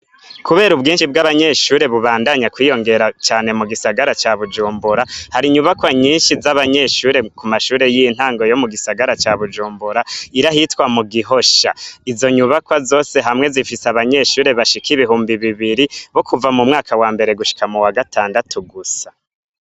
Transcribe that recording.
Kubera ubwishi bw'abanyeshuri bubandanya kwiyongera cane mu gisagara ca bujumbura hari inyubakwa nyishi zabanyeshuri ku mashuri y'intango yo mu gisagara ca Bujumbura iri ahitwa Mugihosha izo nyubakwa zose hamwe zifise abanyeshuri bashasha bashika ibihumbi bibiri bo kuva mu mwaka wambere gushika muwa gatandatu gusa.